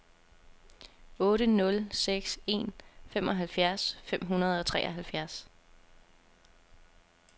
otte nul seks en femoghalvfjerds fem hundrede og treoghalvfjerds